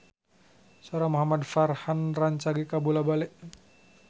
Sora Muhamad Farhan rancage kabula-bale